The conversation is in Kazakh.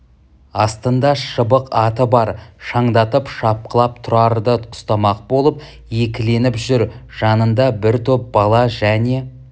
астында шыбық аты бар шаңдатып шапқылап тұрарды ұстамақ болып екіленіп жүр жанында бір топ бала және